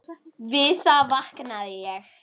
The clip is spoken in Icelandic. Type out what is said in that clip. Við það vaknaði ég.